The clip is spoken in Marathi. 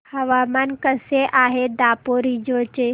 हवामान कसे आहे दापोरिजो चे